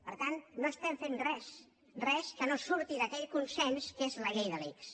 per tant no estem fent res res que no surti d’aquell consens que és la llei de l’ics